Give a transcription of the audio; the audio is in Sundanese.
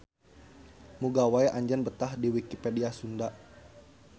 Muga wae anjeun betah di Wikipedia Sunda.